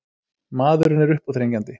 Maðurinn er uppáþrengjandi.